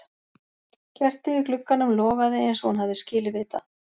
Kertið í glugganum logaði eins og hún hafði skilið við það.